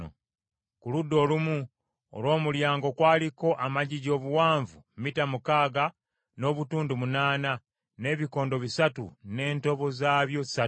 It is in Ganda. Ku ludda olumu olw’omulyango kwaliko amagigi obuwanvu mita mukaaga n’obutundu munaana, n’ebikondo bisatu n’entobo zaabyo ssatu.